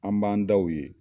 An b'an da u ye.